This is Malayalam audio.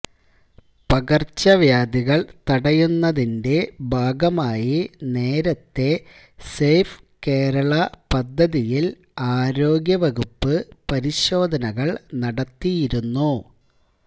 പകര്ച്ചവ്യാധികള് തടയുന്നതിന്റെ ഭാഗമായി നേരത്തെ സേഫ് കേരള പദ്ധതിയില് ആരോഗ്യവകുപ്പ് പരിശോധനകള് നടത്തിയിരുന്നു